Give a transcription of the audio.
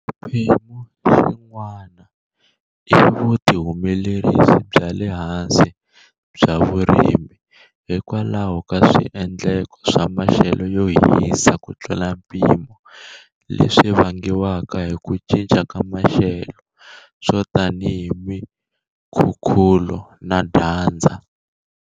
Xiphemu xin'wana i vuhumelerisi bya le hansi bya vurimi hikwalaho ka swiendleko swa maxelo yo hisa kutlula mpimo leswi vangiwaka hi ku cinca ka maxelo, swo tanihi mikhukhulo na dyandza.